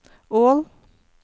Ål